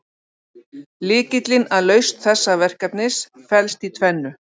Lykillinn að lausn þessa verkefnis felst í tvennu.